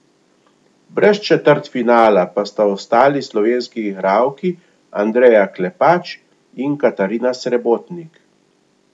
Brez četrtfinala pa sta ostali slovenski igralki Andreja Klepač in Katarina Srebotnik.